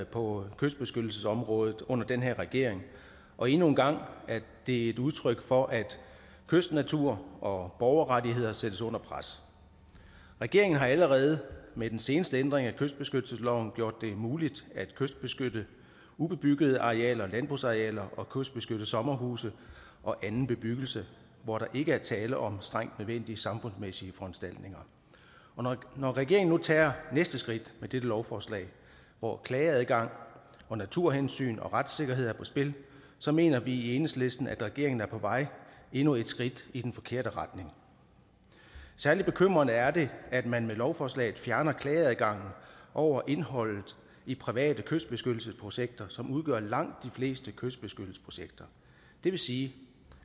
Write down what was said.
på kystbeskyttelsesområdet under den her regering og endnu en gang er det et udtryk for at kystnatur og borgerrettigheder sættes under pres regeringen har allerede med den seneste ændring af kystbeskyttelsesloven gjort det muligt at kystbeskytte ubebyggede arealer landbrugsarealer og kystbeskytte sommerhuse og anden bebyggelse hvor der ikke er tale om strengt nødvendige samfundsmæssige foranstaltninger og når regeringen nu tager næste skridt med dette lovforslag hvor klageadgang og naturhensyn og retssikkerhed er på spil så mener vi i enhedslisten at regeringen er på vej endnu et skridt i den forkerte retning særlig bekymrende er det at man med lovforslaget fjerner klageadgangen over indholdet i private kystbeskyttelsesprojekter som udgør langt de fleste kystbeskyttelsesprojekter det vil sige